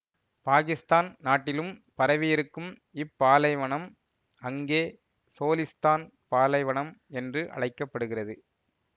பாகிஸ்தான் நாட்டிலும் பரவியிருக்கும் இப்பாலைவனம் அங்கே சோலிஸ்தான் பாலைவனம் என்று அழைக்க படுகிறது